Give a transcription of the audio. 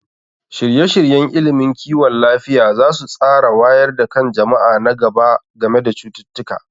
Shirye-shiryen ilimin kiwon lafiya za su tsara wayar da kan jama'a na gaba game da cututtuka.